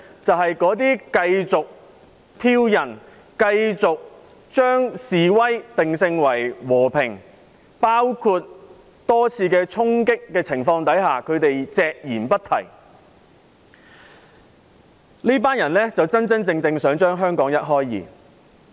就是那些繼續挑釁、繼續將示威定性為和平，那些對多次衝擊事件隻言不提的人，這群人真真正正想把香港一開為二。